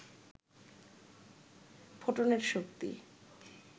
ফোটনের শক্তি